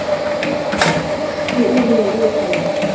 Hristi úr mér viðkvæmnina.